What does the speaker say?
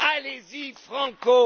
Allez y franco!